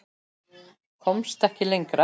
Komst ekki lengra.